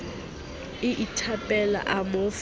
a ithapela a mo fa